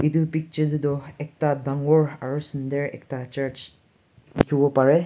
itu picture te toh ekta dangor aro sundur ekta church dikhibo pare.